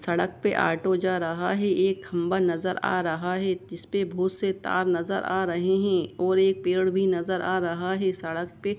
सड़क पे ओटो जा रहा है एक खम्बा नजर आ रहा है इस मे बहुत से तार नजर आ रहे है और एक पेड़ भी नजर आ रहा है सड़क पे।